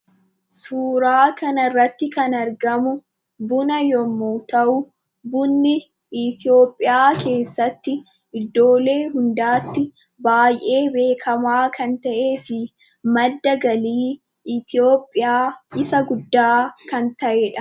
Suuraa Kanarratti kan argamu, buna yemmu ta'u, bunni ithiyoopiyaa keessatti iddoolee hundaatti baay'ee beekama kan ta'ee fi madda galii ithiyoopiyaa isa guddaa kan ta'udha.